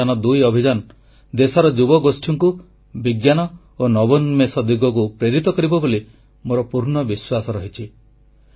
ଚନ୍ଦ୍ରଯାନ2 ଅଭିଯାନ ଦେଶର ଯୁବଗୋଷ୍ଠୀଙ୍କୁ ବିଜ୍ଞାନ ଓ ନବୋନ୍ମେଷ ଦିଗକୁ ପ୍ରେରିତ କରିବ ବୋଲି ମୋର ପୂର୍ଣ୍ଣ ବିଶ୍ୱାସ ରହିଛି